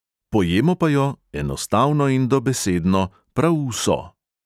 Pojemo pa jo, enostavno in dobesedno, prav vso.